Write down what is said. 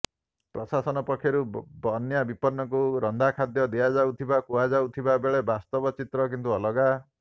ପ୍ରଶାସନ ପକ୍ଷରୁ ବନ୍ୟା ବିପନ୍ନଙ୍କୁ ରନ୍ଧାଖାଦ୍ୟ ଦିଆଯାଉଥିବା କୁହାଯାଉଥିବା ବେଳେ ବାସ୍ତବ ଚିତ୍ର କିନ୍ତୁ ଅଲଗା